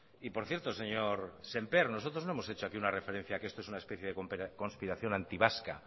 y por cierto señor sémper nosotros no hemos hecho aquí una referencia a que esto es una especie de conspiración antivasca